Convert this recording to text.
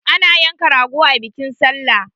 Ana yanka rago a bikin sallah